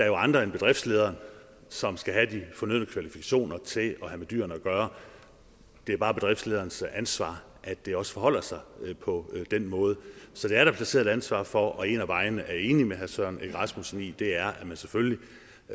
jo andre end bedriftlederen som skal have de fornødne kvalifikationer til at have med dyrene at gøre det er bare bedriftlederens ansvar at det også forholder sig på den måde så det er der placeret et ansvar for og en af vejene det er jeg enig med herre søren egge rasmussen i er at man selvfølgelig